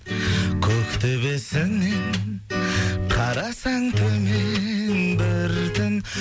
көктөбесінен қарасаң төмен бір түн